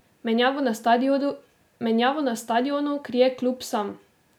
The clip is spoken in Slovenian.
Menjavo na stadionu krije klub sam.